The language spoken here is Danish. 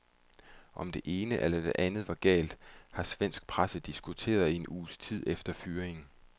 Om det ene eller det andet var galt, har svensk presse diskuteret i en uges tid efter fyringen.